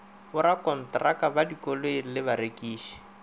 borakontraka ba dikoloi le barekiši